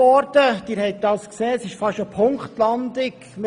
Wie Sie gesehen haben, haben wir fast eine Punktlandung erreicht.